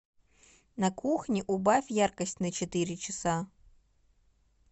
на кухне убавь яркость на четыре часа